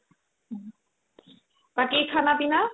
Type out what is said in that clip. বাকি khana pina ?